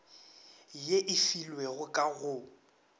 ye e filwego ka go